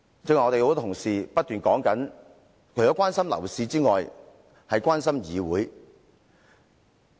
剛才多位同事均表示，他們除了關心樓市外，也關心議會。